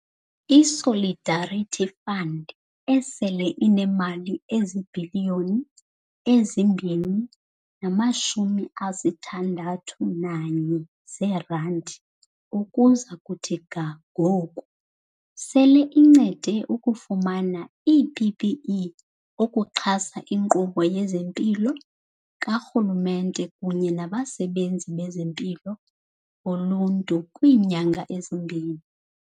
I-Solidarity Fund, esele inemali ezibhiliyoni ezi-2.61 zeerandi ukuza kuthi ga ngoku, sele incede ukufumana ii-PPE ukuxhasa inkqubo yezempilo karhulumente kunye nabasebenzi bezempilo boluntu kwiinyanga ezimbini.